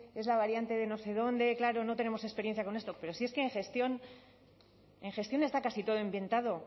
es la variante de no sé dónde claro no tenemos experiencia con esto pero si es que en gestión está casi todo inventado